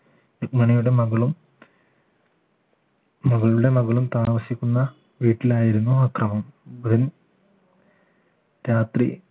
രുക്മിണിയുടെ മകളും മകളുടെ മകളും താമസിക്കുന്ന വീട്ടിലായിരുന്നു അക്രമം രാത്രി